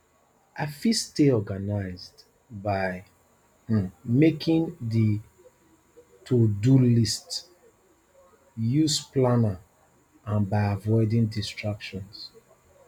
i fit stay organized by um making di todo list use planner and by avoiding distractions